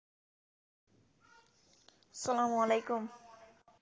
আস্সালামুআলাইকুম